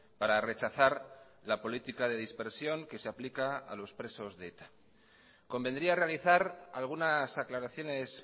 para rechazar la política de dispersión que se aplica a los presos de eta convendría realizar algunas aclaraciones